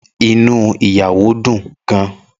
Inú ìyàwó dùn gan-an.